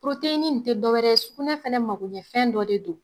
ni n te dɔ wɛrɛ ye sugunɛ fɛnɛ magoɲɛfɛn dɔ de don.